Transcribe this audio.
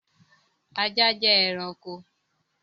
Ajá jẹ́ ẹranko t